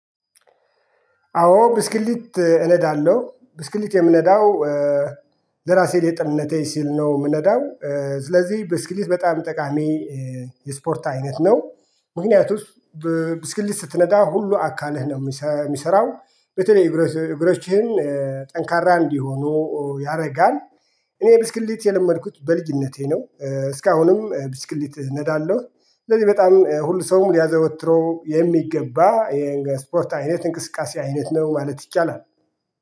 አዎ ብስክሌት እነዳለሁ ብስክሌት የምነዳው ለራሴ ለጤንነቴ ስል ነው የምነዳው። ስለዚህ ብስክሌት በጣም ጠቃሚ የስፖርት አይነት ነው። ምክንያቱም ብስክሌት ስትነዳ ሁሉ አካልህ ነው የሚሰራው በተለይ እግሮችህን ጠንካራ እንዲሆኑ ያደርጋል። እኔ ብስክሌት የለመድኩት በልጅነቴ ነው እስካሁንም ብስክሌት እነዳለሁ። ስለዚህ በጣም ሁሉ ሰውም ሊያዘወትረው የሚገባ የስፖርት አይነት እንቅስቃሴ አይነት ነው ማለት ይቻላል።